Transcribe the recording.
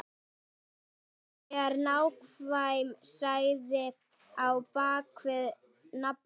En hver er nákvæm saga á bakvið nafnið?